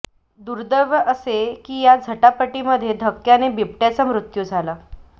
दुर्दैव असे की या झटापटीमध्ये धक्क्याने बिबट्याचा मृत्यू झाला